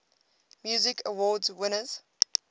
music awards winners